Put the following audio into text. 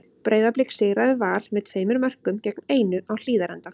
Breiðablik sigraði Val með tveimur mörkum gegn einu á Hlíðarenda.